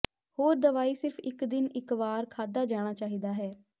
ਹੋਰ ਦਵਾਈ ਸਿਰਫ ਇੱਕ ਦਿਨ ਇੱਕ ਵਾਰ ਖਾਧਾ ਜਾਣਾ ਚਾਹੀਦਾ ਹੈ